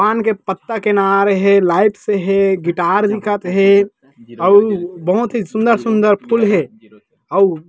पान की पत्ता के नार हे लाइट से हे गिटार दिखत हे अउ बहुत ही सुन्दर-सुन्दर फूल हे अउ--